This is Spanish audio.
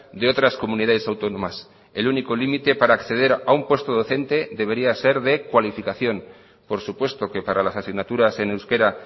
de otras comunidades autónomas el único límite para acceder a un puesto docente debería ser de cualificación por supuesto que para las asignaturas en euskera